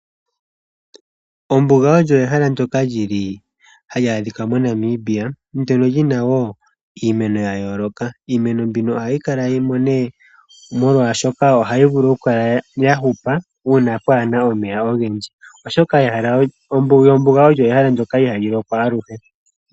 Ombuga ehala hali adhika moNamibia mono muna iimeno ya yooloka. Iimeno mbino ohayi kalamo molwaashono ohayi vulu okuhupa uuna pwaana omeya ogendji, oshoka ombuga ehala ndyoka ihali lokwa aluhe.